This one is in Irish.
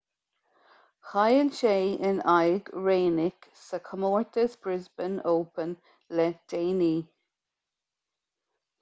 chaill sé in aghaidh raonic sa chomórtas brisbane open le déanaí